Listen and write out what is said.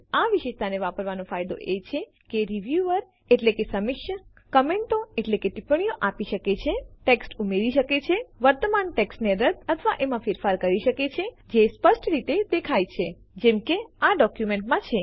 આ વિશેષતાને વાપરવાનો ફાયદો એ છે કે રીવ્યુઅર એટલે કે સમીક્ષક કમેન્ટો ટિપ્પણીઓ આપી શકે છે ટેક્સ્ટ ઉમેરી શકે છે વર્તમાન ટેક્સ્ટને રદ્દ અથવા એમાં ફેરફાર કરી શકે છે જે સ્પષ્ટ રીતે દેખાય છે જેમ કે આ જ ડોક્યુમેન્ટમાં છે